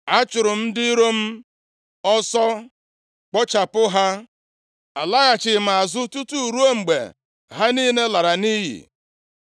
“Achụrụ m ndị iro m ọsọ, kpochapụ ha. Alaghachighị m azụ tutu ruo mgbe ha niile lara nʼiyi.